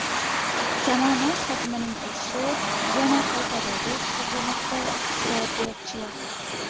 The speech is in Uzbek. Kamomad hajmining o‘sishi yana qaytadi, deb hisoblamoqda iqtisodiyotchilar.